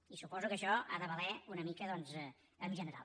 i suposo que això ha de valer una mica doncs en general